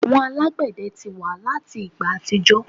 Àwọn alagbẹdẹ ti wa lati igba atijọ